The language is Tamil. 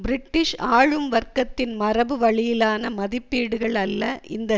பிரிட்டிஷ் ஆளும் வர்க்கத்தின் மரபு வழியிலான மதிப்பீடுகள் அல்ல இந்த